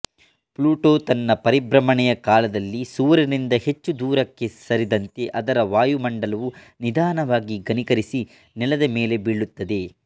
Pluto ತನ್ನ ಪರಿಭ್ರಮಣೆಯ ಕಾಲದಲ್ಲಿ ಸೂರ್ಯನಿಂದ ಹೆಚ್ಚು ದೂರಕ್ಕೆ ಸರಿದಂತೆ ಅದರ ವಾಯುಮಂಡಲವು ನಿಧಾನವಾಗಿ ಘನೀಕರಿಸಿ ನೆಲದ ಮೇಲೆ ಬೀಳುತ್ತದೆ